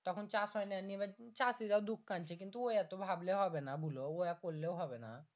তখন চাষ হয় না নিয়ে এবার চাষীরা দুখ কানছে এত ভাবলে হবে না বুলো ওয়া করলেও হবে